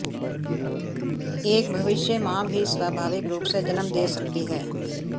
एक भविष्य मां भी स्वाभाविक रूप से जन्म दे सकती है